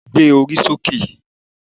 Gbé orí sókè